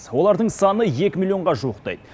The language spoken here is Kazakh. олардың саны екі миллионға жуықтайды